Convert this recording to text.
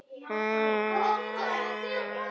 Liðið skipa þeir